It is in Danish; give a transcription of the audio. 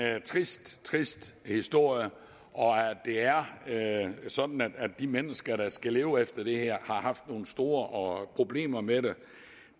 er en trist trist historie og at det er sådan at de mennesker der skal leve efter det her har haft nogle store problemer med